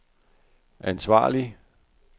ansvarlig